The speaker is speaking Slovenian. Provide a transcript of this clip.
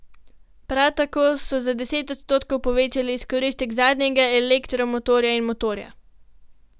Prav tako so za deset odstotkov povečali izkoristek zadnjega elektromotorja in motorja.